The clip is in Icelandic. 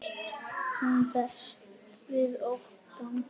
Hún berst við óttann.